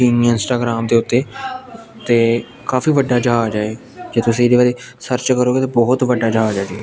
Instagram ਦੇ ਓੱਤੇ ਤੇ ਕਾਫੀ ਵੱਡਾ ਜੇਹਾ ਆ ਜਾਏ ਕੇ ਤੁਸੀ ਜਿਵੇਂ ਸਰਚ ਕਰੋਗੇ ਤੇ ਬਿਹਤ ਵੱਡਾ ਜੇਹਾ ਆ ਜਾਏ।